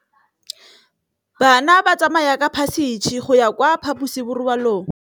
Bana ba tsamaya ka phašitshe go ya kwa phaposiborobalong.